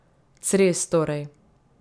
Cres torej.